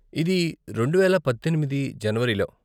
ఇది రెండువేల పద్దెనిమిది జనవరిలో.